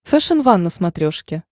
фэшен ван на смотрешке